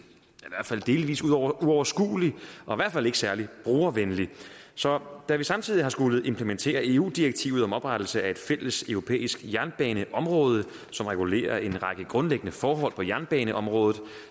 så delvis uoverskuelig og i hvert fald ikke særlig brugervenlig så da vi samtidig har skullet implementere eu direktivet om oprettelse af et fælles europæisk jernbaneområde som regulerer en række grundlæggende forhold på jernbaneområdet